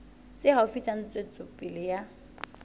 tse haufi tsa ntshetsopele ya